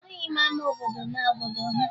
Ahụghị m ama obodo n'obodo ha